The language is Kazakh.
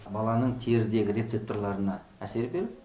баланың терідегі рецепторларына әсер беріп